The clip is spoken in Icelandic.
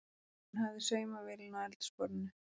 Hún hafði saumavélina á eldhúsborðinu.